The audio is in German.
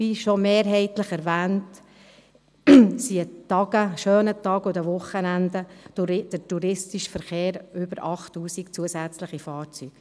Wie schon mehrheitlich erwähnt, beläuft sich der touristische Zusatzverkehr an schönen Tagen und an Wochenenden auf über 8000 Fahrzeuge.